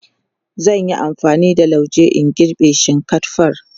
zan Yi amfani da lauje in girbe shinkatfar